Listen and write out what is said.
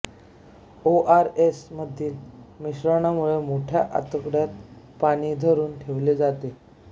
ओ R S मधील मिश्रणामुळे मोठ्या आतड्यात पाणी धरून ठेवले जाते